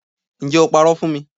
Ǹjẹ́ o parọ́ fún mi